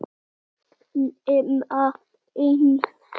nema einn.